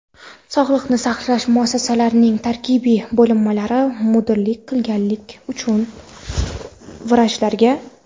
Sog‘liqni saqlash muassasalarining tarkibiy bo‘linmalariga mudirlik qilganlik uchun vrachlarga:.